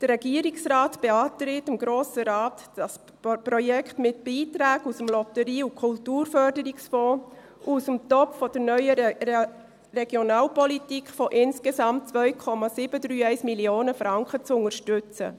Der Regierungsrat beantragt dem Grossen Rat, dieses Projekt mit Beiträgen von insgesamt 2,731 Mio. Franken aus dem Lotterie- und Kulturförderungsfonds aus dem Topf der neueren Regionalpolitik zu unterstützen.